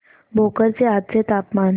भोकर चे आजचे तापमान